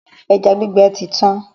Ẹja gbígbẹ ti tán.